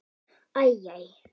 Æ. æ.